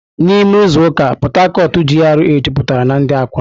N'ime izu ụka, Port Harcourt GRA jupụtara na ndị akwụna.